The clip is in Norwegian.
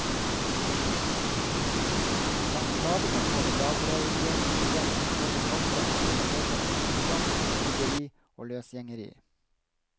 Blant klagene over dagleiersystemet, hørtes ofte at det var årsak til fattigdom, tiggeri og løsgjengeri.